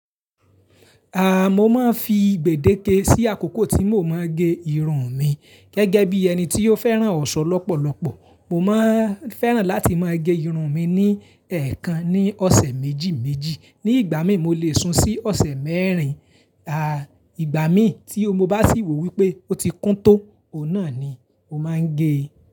Aah, mo máa ń fi gbèdéke sí àkókò tí mo máa ń gé irun mi. Gẹ́gẹ́ bí ẹni tí ó fẹ́ràn ọ̀ṣọ́ lọ́pọ̀lọpọ̀, mo máa ń fẹ́ràn láti máa gé irun mi ní ẹ̀ẹ̀kan ní ọ̀sẹ̀ méjì méjì. Ni ìgbà míì, mo lè sun sí ọ̀sẹ̀ mẹ́rin. Igbà míì tí mo bá sì wò wípé ó ti kún tó, òhun náà ni mo máa ń gé.